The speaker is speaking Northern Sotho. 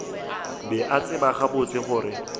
be a tseba gabotse gore